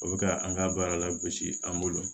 O bɛ ka an ka baara la gosi an bolo